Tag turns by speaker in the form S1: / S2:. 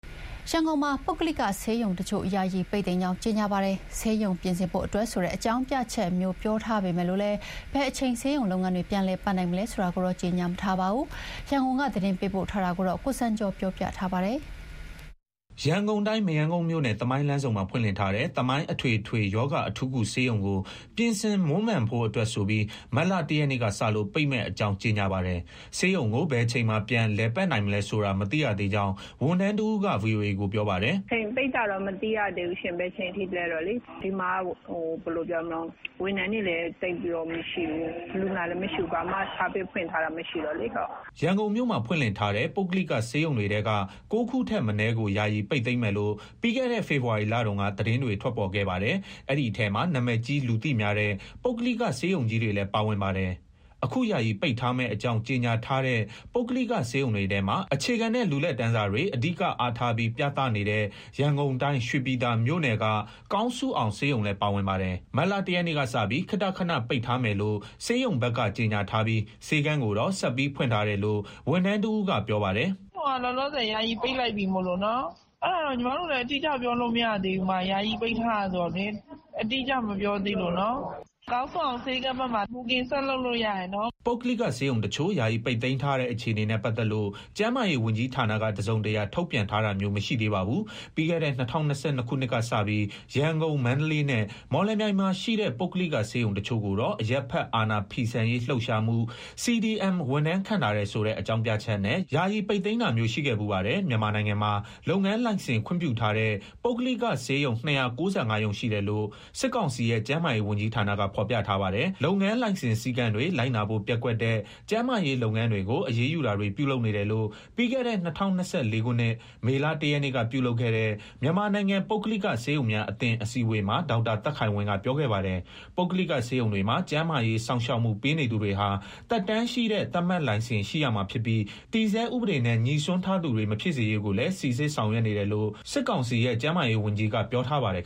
S1: ရန်ကုန်မှာ ပုဂ္ဂလိကဆေးရုံတချို့ ယာယီ ပိတ်သိမ်းကြောင်း ကြေညာပါတယ်။ ဆေးရုံပြင်ဆင်ဖို့ အတွက်ဆိုတဲ့ အကြောင်းပြချက်မျိုး ပြောထားပေမဲ့ ဘယ်အချိန် ဆေးရုံလုပ်ငန်းတွေ ပြန်လည် လည်ပတ်နိုင်မလဲ ဆိုတာကိုတော့ ကြေညာမထားပါဘူး။ ရန်ကုန်က သတင်းပေးပို့ထားပါတယ်။ ရန်ကုန်တိုင်း မရမ်းကုန်းမြို့နယ်၊ သမိုင်းလမ်းဆုံမှာ ဖွင့်လှစ်ထားတဲ့ သမိုင်း အထွေထွေရောဂါ အထူးကုဆေးရုံကို ပြင်ဆင်မွမ်းမံရန်အတွက်ဆိုပြီး မတ်လ ၁ ရက်နေ့ကစလို့ ပိတ်မယ့်အကြောင်း ကြေညာပါတယ်။ ဆေးရုံကို ဘယ်အချိန်မှာ ပြန် လည်ပတ်နိုင်မလဲဆိုတာ မသိရသေးကြောင်း ဝန်ထမ်းတဦးက ဗွီအိုအေကိုပြောပါတယ်။ "ဘယ်အချိန်ထိ ပိတ်မယ်ဆိုတာတော့ မသိရသေးဘူးရှင့်။ ဆေးရုံမှာက ဝန်ထမ်းတွေလည်း သိပ်မရှိဘူး။ လူနာလည်းမရှိဘူး။ ဝန်ဆောင်မှုလည်း ပေးနေတာ ဘာမှမရှိဘူး။" ရန်ကုန်မြို့မှာ ဖွင့်လှစ်ထားတဲ့ ပုဂ္ဂလိကဆေးရုံတွေထဲက ၉ ခုထက်မနည်းကို ယာယီပိတ်သိမ်းမယ်လို့ ပြီးခဲ့တဲ့ ဖေဖော်ဝါရီလတုန်းက သတင်းတွေ ထွက်ပေါ်ခဲ့ပါတယ်။ အဲဒီထဲမှာ နာမည်ကြီး လူသိများတဲ့ ပုဂ္ဂလိက ဆေးရုံကြီးတွေလည်း ပါဝင်ပါတယ်။ အခု ယာယီပိတ်ထားမယ့်အကြောင်း ကြေညာထားတဲ့ ပုဂ္ဂလိကဆေးရုံတွေထဲမှာ အခြေခံနဲ့ လူလတ်တန်းစားတွေ အဓိကအားထားပြီး ပြသနေတဲ့ ရန်ကုန်တိုင်း၊ ရွှေပြည်သာမြို့နယ်က ကောင်းစုအောင်ဆေးရုံလည်း ပါဝင်ပါတယ်။ မတ်လ ၁ ရက်နေ့ကစပြီး ခေတ္တခဏ ပိတ်ထားမယ်လို့ ဆေးရုံဘက်က ကြေညာထားပြီး ဆေးခန်းကိုတော့ ဆက်ပြီးဖွင့်ထားတယ်လို့ ဝန်ထမ်းတဦးက ပြောပါတယ်။ "ဆေးရုံက လောလောဆယ် ယာယီပိတ်လိုက်ပြီ။ ဘယ်အချိန် ပြန်ဖွင့်မယ်ဆိုတာ အတိအကျ ပြောလို့မရသေးဘူး။ ယာယီပိတ်ထားတာ ဆိုတော့လေ အတိအကျ မပြောသေးလို့နော်။ ကောင်းစုအောင် ဆေးခန်းဘက်မှာ ဘိုကင်ဆက်လုပ်လို့ ရပါတယ်။" ပုဂ္ဂလိကဆေးရုံတချို့ ယာယီပိတ်သိမ်းထားတဲ့ အခြေအနေနဲ့ပတ်သက်လို့ ကျန်းမာရေးဝန်ကြီးဌာနက တစုံတရာ ထုတ်ပြန်ထားတာမျိုး မရှိသေးပါဘူး။ ပြီးခဲ့တဲ့ ၂၀၂၂ ခုနှစ်ကစပြီး ရန်ကုန်၊ မန္တလေးနဲ့ မော်လမြိုင်မှာရှိတဲ့ ပုဂ္ဂလိကဆေးရုံတချို့ကိုတော့ အကြမ်းမဖက် အာဏာဖီဆန်ရေးလှုပ်ရှားမှု CDM ဝန်ထမ်း ခန့်ထားတယ်ဆိုတဲ့ အကြောင်းပြချက်နဲ့ ယာယီပိတ်သိမ်းတာမျိုး ရှိခဲ့ဖူးပါတယ်။ မြန်မာနိုင်ငံမှာ လုပ်ငန်းလိုင်စင် ခွင့်ပြုထားတဲ့ ပုဂ္ဂလိကဆေးရုံ ၂၉၅ ရုံရှိတယ်လို့ စစ်ကောင်စီရဲ့ ကျန်းမာရေးဝန်ကြီးဌာနက ဖော်ပြထားပါတယ်။ လုပ်ငန်းလိုင်စင် စည်းကမ်းတွေ လိုက်နာဖို့ ပျက်ကွက်တဲ့ ကျန်းမာရေးလုပ်ငန်းတွေကို အရေးယူတာတွေ ပြုလုပ်နေတယ်လို့ ပြီးခဲ့တဲ့ ၂၀၂၄ ခုနှစ် မေလ ၁ ရက်နေ့က ပြုလုပ်ခဲ့တဲ့ မြန်မာနိုင်ငံ ပုဂ္ဂလိကဆေးရုံများအသင်း အစည်းအဝေးမှာ ဒေါက်တာသက်ခိုင်ဝင်းက ပြောခဲ့ပါတယ်။ ပုဂ္ဂလိက ဆေးရုံတွေမှာ ကျန်းမာရေးစောင့်ရှောက်မှု ပေးနေသူတွေဟာ သက်တမ်းရှိတဲ့ သတ်မှတ်လိုင်စင် ရှိရမှာဖြစ်ပြီး တည်ဆဲဥပဒေနဲ့ ငြိစွန်းထားသူတွေ မဖြစ်စေရေးကိုလည်း စိစစ်ဆောင်ရွက်နေတယ်လို့ စစ်ကောင်စီရဲ့ ကျန်းမာရေးဝန်ကြီးက ပြောထားပါတယ်